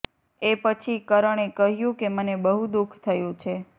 એ પછી કરણે કહ્યું કે મને બહુ દુઃખ થયું છે